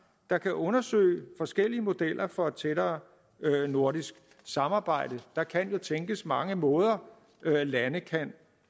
der kan undersøge forskellige modeller for et tættere nordisk samarbejde der kan jo tænkes mange måder lande kan